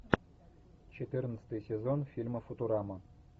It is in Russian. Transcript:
четырнадцатый сезон фильма футурама